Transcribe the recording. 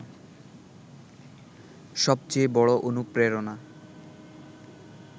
সবচেয়ে বড় অনুপ্রেরণা